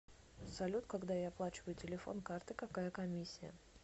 салют когда я оплачиваю телефон картой какая комиссия